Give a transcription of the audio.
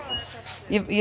ég